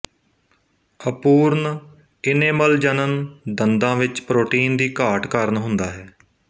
ਅਪੂਰਨ ਇਨੇਮਲਜਨਨ ਦੰਦਾਂ ਵਿੱਚ ਪ੍ਰੋਟੀਨ ਦੀ ਘਾਟ ਕਾਰਨ ਹੁੰਦਾ ਹੈ